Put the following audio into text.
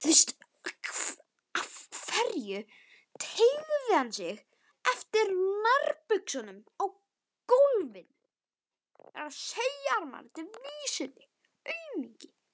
Hann teygði sig eftir nærbuxunum á gólfinu.